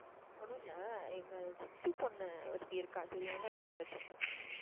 ஒன்னும் இல்ல எங்க சித்தி பொண்ணு ஒருத்தி இருக்கா தெரியுன்ல? என் தங்கச்சி.